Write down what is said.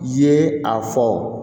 Ye a fɔ